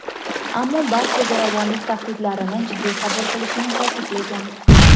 ammo barcha zo‘ravonlik tahdidlarini jiddiy qabul qilishini ta’kidlagan.